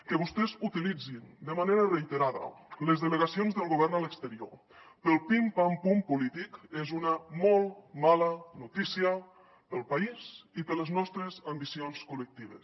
que vostès utilitzin de manera reiterada les delegacions del govern a l’exterior pel pim pam pum polític és una molt mala notícia pel país i per les nostres ambicions col·lectives